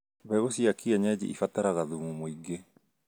Mbegũ cia kĩenyeji ibataraga thumu mũingĩ